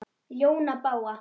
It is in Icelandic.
ljóna bága